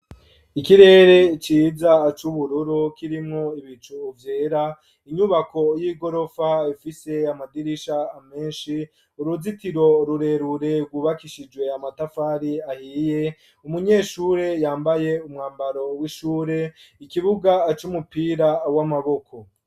Ikirere ciza c'ubururu ,kirimwo ibicu vyera ,inyubako y'igorofa fise amadirisha menshi ,uruzitiro rurerure rwubakishijwe amatafari ahiye ,umunyeshure yambaye umwambaro w'ishure, ikibuga cumupira w'amaboko.